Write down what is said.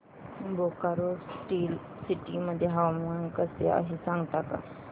Bokaro steel city मध्ये हवामान कसे आहे सांगता का